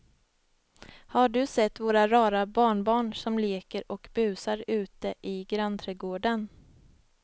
Har du sett våra rara barnbarn som leker och busar ute i grannträdgården!